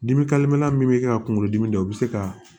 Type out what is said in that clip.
Dimi min bɛ kɛ ka kunkolo dimi dɔn o bɛ se ka